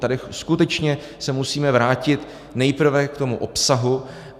Tady skutečně se musíme vrátit nejprve k tomu obsahu.